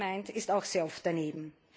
Und gut gemeint ist auch sehr oft daneben.